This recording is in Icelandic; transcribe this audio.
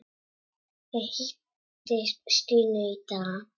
Ég hitti Stínu í dag.